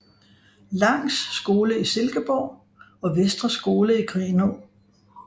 Langs Skole i Silkeborg og Vestre Skole i Grenaa